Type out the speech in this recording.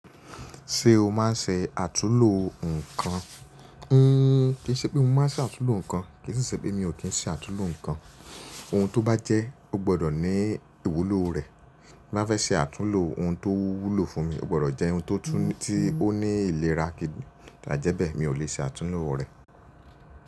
Ṣé o máa ń se àtúlo nǹkan? Kì í ṣe pé mo máa ń ṣe àtúnlo nǹkan, kì í sì ṣe pé mi ò kí ń ṣe àtúnlo nǹkan. Ohun tó bá jẹ́, ó gbọdọ̀ ní ìwúlò rẹ̀. Bí n bá fẹ́ ṣe àtúnlo ohun tó wúlò fún mi, ó gbọdọ̀ jẹ́ ohun tó tú tí ó ní ìlera. Ài jẹ́ bẹ́ẹ̀, mi ò lè ṣe àtúnlo rẹ̀